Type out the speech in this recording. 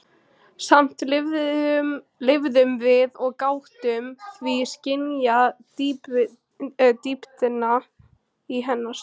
Samt lifðum við og gátum því skynjað dýptina í hennar sorg.